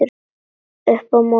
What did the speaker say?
Upp í móti.